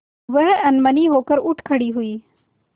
वह अनमनी होकर उठ खड़ी हुई